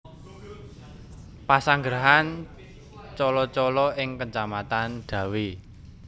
Pesanggrahan Colo Colo ing Kacamatan Dawe